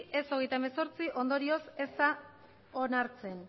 ez hogeita hemezortzi ondorioz ez da onartzen